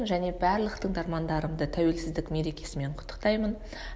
және барлық тыңдармандарымды тәуелсіздік мерекесімен құттықтаймын